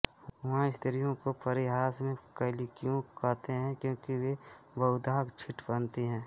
वहाँ स्त्रियों को परिहास में कैलिको कहते है क्योंकि वे बहुधा छींट पहनती हैं